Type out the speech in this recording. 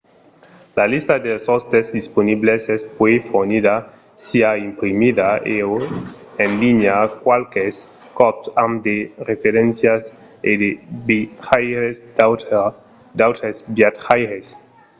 una lista dels òstes disponibles es puèi fornida siá imprimida e/o en linha qualques còps amb de referéncias e de vejaires d’autres viatjaires